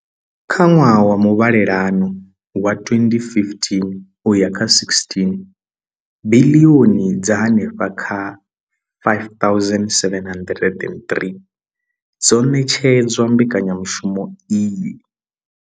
Kha ṅwaha wa muvhalelano wa 2015 uya kha 16, biḽioni dza henefha kha R5 703 dzo ṋetshedzwa mbekanyamushumo iyi.